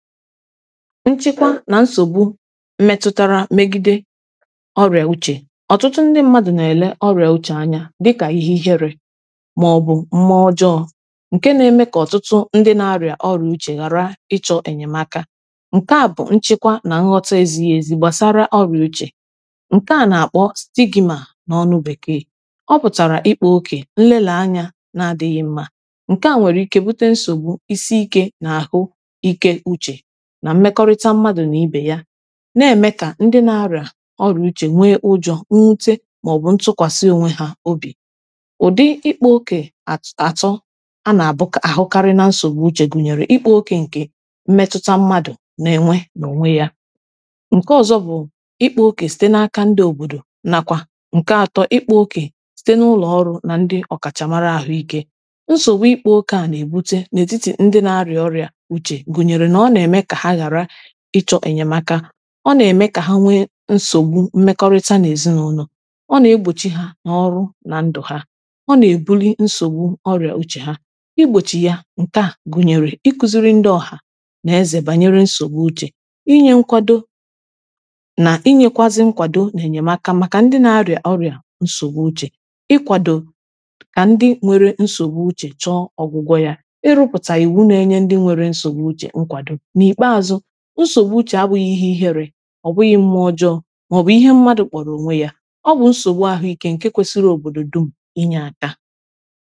nchịkwa na nsogbu metụtara megide ọrịa uche ọtụtụ ndị mmadụ na-ele ọrịa uche anya dịka ihe ihere ma ọ bụ mmụọ ọjọọ nke na-eme ka ọtụtụ ndị na-arịa ọrịa uche ghara ịchọ enyemaka nke a bụ nchịkwa na nghọta ezighi ezi gbasara ọrịa uche nke a na-akpọ stigma na ọnụ bekee ọ pụtara ịkpụ oke nlela anya na-adịghị mma nke a nwere ike bute nsogbu isiike na ahụ ike uche na-eme ka ndị na-arịa ọrụ uche nwee kpụ ụjọ nwute maọbụ ntụkwasị onwe ha obi ụdị ịkpọ oke at atọ a na-abụ ahụkarị na nsogbu uche gụnyere ịkpọ oke nke mmetụta mmadụ na-enwe n’onwe ya nke ọzọ bụ ịkpọ oke site n’aka ndị obodo nakwa nke atọ ịkpọ oke site n’ụlọ ọrụ na ndị ọkachamara ahụike nsogbu ịkpọ oke a na-ebute n’etiti ndị na-arịa ọrịa uche ịchọ enyemaka ọ na-eme ka ha nwee nsogbu mmekọrịta na ezinụụlọ ọ na-egbochi ha na ọrụ na ndụ ha ọ na-ebuli nsogbu ọrịa uche ha igbochi ya nke a gụnyere ikuziri ndị ọha n’eze banyere nsogbu uche inye nkwado na inyekwazi nkwado na-enyemaka maka ndị na-arịa ọrịa nsogbu uche ịkwado ka ndị nwere nsogbu uche chọ ọgwụgwọ ya irupụta iwu na iye ndị nwere nsogbu uche nkwado ọ bụghị mmụọ ọjọọ ma ọ bụ ihe mmadụ kpọrọ onwe ya ọ bụ nsogbu ahụike nke kwesiri obodo dum inye aka